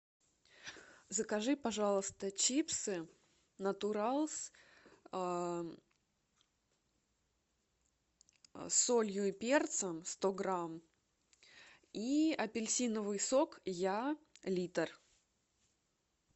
закажи пожалуйста чипсы натуралс с солью и перцем сто грамм и апельсиновый сок я литр